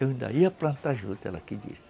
Eu ainda ia plantar juta, ela que disse.